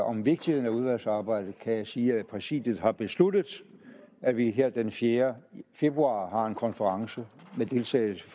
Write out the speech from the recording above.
om vigtigheden af udvalgsarbejde kan jeg sige at præsidiet har besluttet at vi her den fjerde februar har en konference med deltagelse